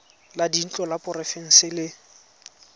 la dintlo la porofense le